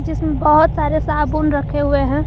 इसमें बहोत सारे साबुन रखे हुए हैं।